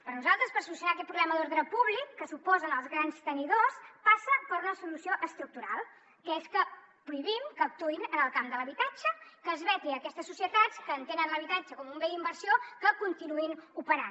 per a nosaltres solucionar aquest problema d’ordre públic que suposen els grans tenidors passa per una solució estructural que és que prohibim que actuïn en el camp de l’habitatge que es veti aquestes societats que entenen l’habitatge com un bé d’inversió que continuïn operant